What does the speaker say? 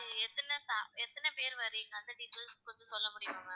எத்தன~எத்தன பேர் வர்றீங்க அந்த details கொஞ்சம் சொல்ல முடியுமா ma'am